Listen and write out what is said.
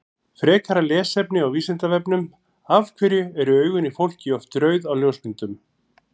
Frekara lesefni á Vísindavefnum Af hverju eru augun í fólki oft rauð á ljósmyndum?